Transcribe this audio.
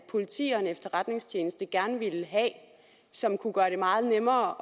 politi og en efterretningstjeneste gerne ville have som kunne gøre det meget nemmere